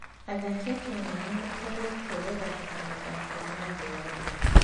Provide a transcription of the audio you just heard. Athaki a Kenya nĩ mateithĩtie gũthaka mathako ma thĩ yothe.